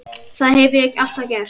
Það hef ég alltaf gert